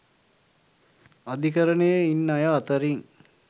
අධිකරණයේ ඉන්න අය අතරින්